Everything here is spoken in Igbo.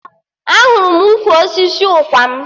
Ahụrụ m ukwu osisi ụkwarm